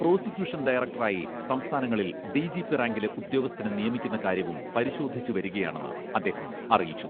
Prosecution ഡയറക്ടറായി സംസ്ഥാനങ്ങളിൽ D G P റാങ്കിലെ ഉദ്യോഗസ്ഥനെ നിയമിക്കുന്ന കാര്യവും പരിശോധിച്ചുവരികയാണെന്ന് അദ്ദേഹം അറിയിച്ചു.